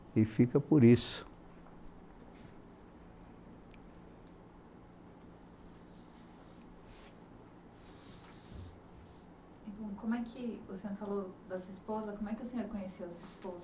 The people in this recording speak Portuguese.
E fica por isso